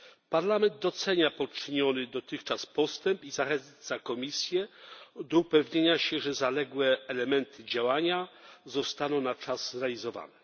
Parlament docenia poczyniony dotychczas postęp i zachęca Komisję do upewnienia się, że zaległe elementy działania zostaną na czas zrealizowane.